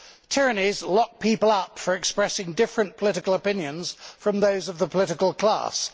Tyrannies lock people up for expressing different political opinions from those of the political class.